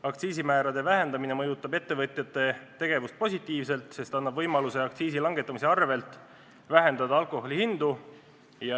Aktsiisimäärade vähendamine mõjutab ettevõtjate tegevust positiivselt, sest annab võimaluse aktsiisi langetamise võrra alandada alkoholi hindu.